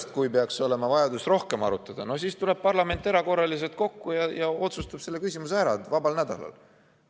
Ja kui peaks olema vajadus rohkem arutada, siis tuleb parlament erakorraliselt kokku ja otsustab selle küsimuse ära vabal nädalal.